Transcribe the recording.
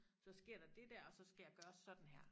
Så sker der det dér og så skal jeg gøre sådan her